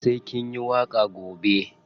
Sai kin yi waƙa gobe.